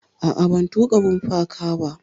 A'a, ban tuƙa bumper car ba.